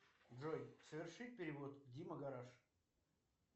джой совершить перевод дима гараж